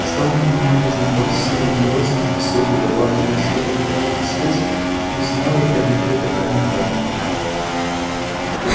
что вам от меня нужно плаксивым голосом спросил преподаватель защиты от тёмных искусств не знаю я где эта тайная комната